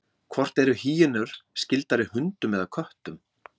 hvort eru hýenur skyldari hundum eða köttum